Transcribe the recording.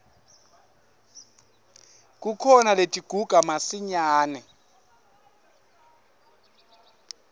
kukhona letiguga masinyane